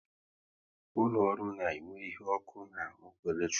Ụlọ ọrụ na enwe ihe ọkụ na ọkụ eletrik